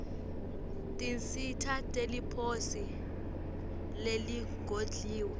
tinsita teliposi leligodliwe